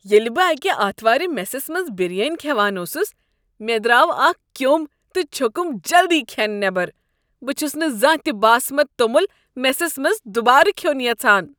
ییٚلہ بہٕ اکہِ آتھوارِ میسس منٛز بِریانی كھیوان اوسُس، مےٚ درٛاو اكھ کیوٚم تہ چھوٚکُم جلدی كھٮ۪ن نیبر۔ بہٕ چھس نہٕ زانٛہہ تہ باسمتہِ توٚمُل میسس منٛز دوبارٕ کھیوٚن یژھان۔